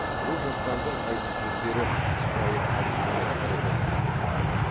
бұл жастардың айтыс сөздері сыпайы қалжыңмен бір бірін мақтау